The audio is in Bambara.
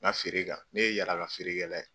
feere kan, ne ye yaala yaala feerekɛla ye.